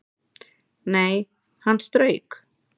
Nei, hann strauk